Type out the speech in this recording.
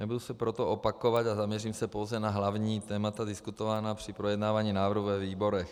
Nebudu se proto opakovat a zaměřím se pouze na hlavní témata diskutovaná při projednávání návrhu ve výborech.